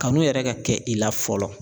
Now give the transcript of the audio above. Kanu yɛrɛ ka kɛ i la fɔlɔ